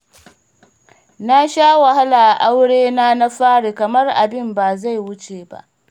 Na sha wahala a aurena na fari kamar abin ba zai wuce ba